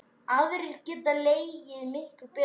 Aðrir geta leikið miklu betur.